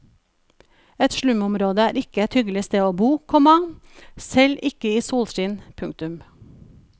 Et slumområde er ikke et hyggelig sted å bo, komma selv ikke i solskinn. punktum